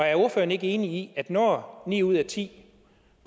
er ordføreren ikke enig i at når ni ud af ti